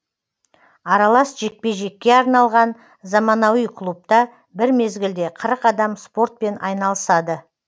аралас жекпе жекке арналған заманауи клубта бір мезгілде қырық адам спортпен айналысады